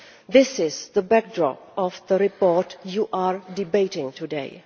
This is the backdrop of the report you are debating today.